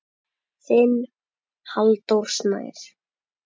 Þinn Halldór Snær.